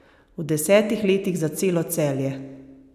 V desetih letih za celo Celje!